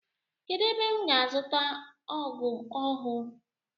Kedụ ebe m ga azuta ọgụ ọhụụ?